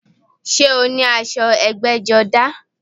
Sé o ní aṣọ ẹgbẹ́jọdá?